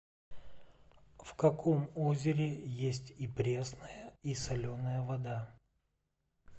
в каком озере есть и пресная и соленая вода